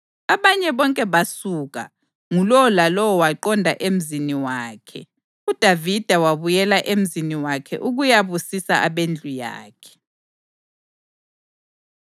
Abanye bonke basuka, ngulowo lalowo waqonda emzini wakhe, uDavida wabuyela emzini wakhe ukuyabusisa abendlu yakhe.